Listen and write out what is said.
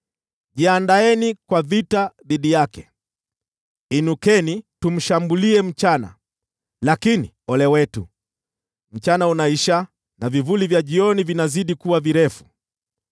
“Jiandaeni kwa vita dhidi yake! Inukeni tumshambulie mchana! Lakini, ole wetu, mchana unaisha, na vivuli vya jioni vinazidi kuwa virefu.